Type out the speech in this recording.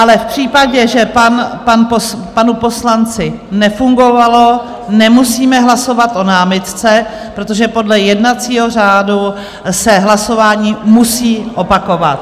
Ale v případě, že panu poslanci nefungovalo, nemusíme hlasovat o námitce, protože podle jednacího řádu se hlasování musí opakovat.